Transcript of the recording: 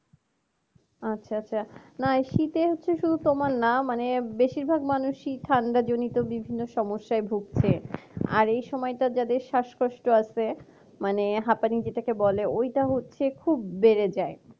আচ্ছা আচ্ছা না এই শীতে হচ্ছে শুধু তোমার না মানে বেশিরভাগ মানুষেরই ঠান্ডা জনিত বিভিন্ন সমস্যায় ভুগছে আর এই সময় যাদের শ্বাসকষ্ট আছে মানে হাঁপানি যেটাকে বলে ওইটা হচ্ছে খুব বেড়ে যায়